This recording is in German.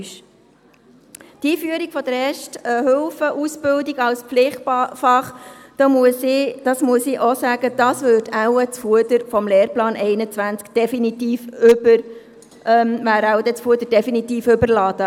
Die Einführung der Erste-Hilfe-Ausbildung als Pflichtfach, das muss auch ich sagen, damit wäre das Fuder beim Lehrplan 21 wohl definitiv überladen.